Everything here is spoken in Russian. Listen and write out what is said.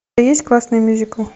есть классный мюзикл